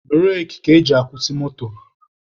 Bureki ka eji akwụsị moto.